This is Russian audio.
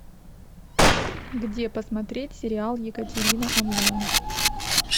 где посмотреть сериал екатерина онлайн